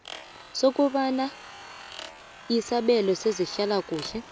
sokobana isabelo sezehlalakuhle